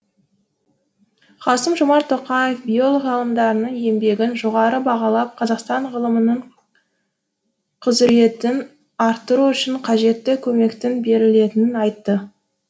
қасым жомарт тоқаев биолог еңбегін жоғары бағалап қазақстан ғылымының құзыретін арттыру үшін қажетті көмектің берілетінін айтты